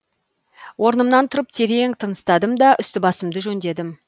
орнымнан тұрып терең тыныстадым да үсті басымды жөндедім